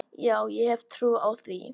Já, ég hef trú á því.